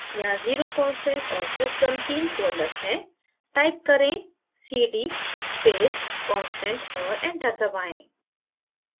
यहाँ 0 constant और system तीन folders हैं type करें cd space constant और enter दबाएँ